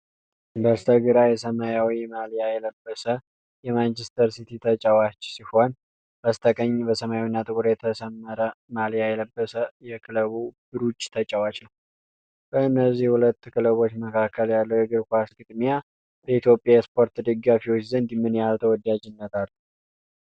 በስተግራ የሰማያዊ ማልያ የለበሰ የማንቸስተር ሲቲ ተጫዋች ሲሆን፤ በስተቀኝ በሰማያዊና ጥቁር የተሰመረ ማልያ የለበሰ የክለብ ብሩጅ ተጫዋች ናቸው። በእነዚህ ሁለት ክለቦች መካከል ያለው የእግር ኳስ ግጥሚያ በኢትዮጵያ የስፖርት ደጋፊዎች ዘንድ ምን ያህል ተወዳጅነት አለው?